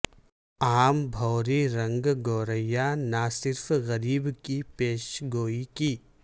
عام بھوری رنگ گورییا نہ صرف غریب کی پیش گوئی کی